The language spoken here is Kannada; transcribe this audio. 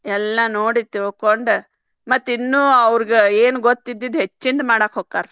ಎಲ್ಲಾ ನೋಡಿ ತಿಳ್ಕೊಂಡ ಮತ್ತ್ ಇನ್ನು ಅವರ್ಗ ಏನ್ ಗೊತ್ತಿದ್ದಿದ್ ಹೆಚ್ಚಿನ್ದ ಮಾಡಾಕ್ ಹೊಕ್ಕಾರ್.